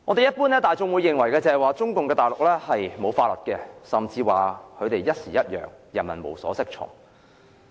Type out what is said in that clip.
一般大眾認為，中共大陸是沒有法律的，甚至指他們朝令夕改，人民無所適從。